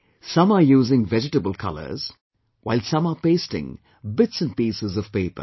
Some are using vegetable colours, while some are pasting bits and pieces `of paper